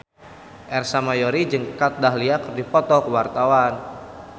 Ersa Mayori jeung Kat Dahlia keur dipoto ku wartawan